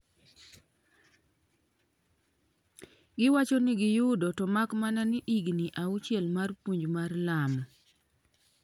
giwacho ni giyudo "to mak mana ni higni auchiel mar puonj mar Lamo"